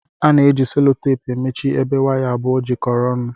Ana eji sellotepu emechi ebe waya abụọ jikọrọ ọnụ.